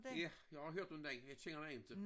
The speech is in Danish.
Ja jeg har hørt om den jeg kender den inte